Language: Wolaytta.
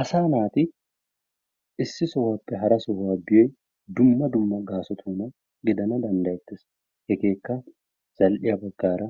Asaa naati issi sohuwappe hara sohuwa biyo dumma dumma gaasotuna giddana danddayettees, hegeekka zal'iya baggaara,